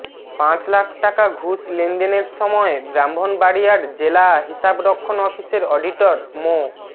পাঁচ লাখ টাকা ঘুষ লেনদেনের সময় ব্রাহ্মণবাড়িয়ার জেলা হিসাব রক্ষণ অফিসের অডিটর মো